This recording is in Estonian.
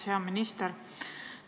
Hea minister!